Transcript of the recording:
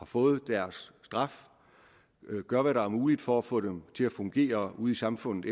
fået deres straf gør hvad der er muligt for at få dem til efterfølgende at fungere ude i samfundet